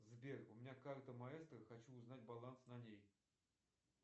сбер у меня карта маэстро хочу узнать баланс на ней